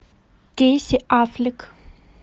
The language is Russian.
кейси аффлек